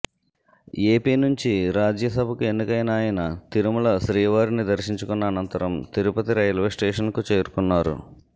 AP నుంచి రాజ్యసభకు ఎన్నికైన ఆయన తిరుమల శ్రీవారిని దర్శించుకున్న అనంతరం తిరుపతి రైల్వే స్టేషన్కు చేరుకున్నారు